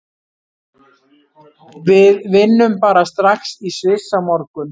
Við vinnum bara strax í Sviss á morgun.